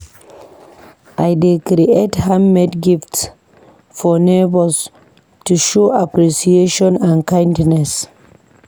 I dey create handmade gifts for neighbors to show appreciation and kindness.